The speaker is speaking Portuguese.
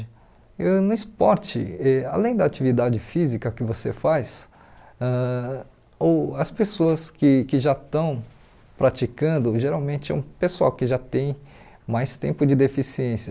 Eu no esporte, e além da atividade física que você faz, ãh uh as pessoas que que já estão praticando, geralmente é um pessoal que já tem mais tempo de deficiência.